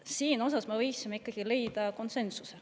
Siin me võiksime leida konsensuse.